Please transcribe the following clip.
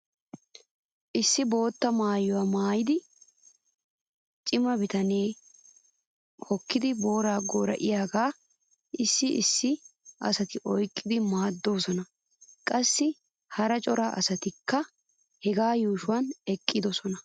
Issi bootta maayuwaa maayida cima bitanee hukkidi booraa goora'iyaagaa issi issi asati oyqqidi maaddoosona. Qassi hara cora asatikka hegaa yuushuwan eqqidosona.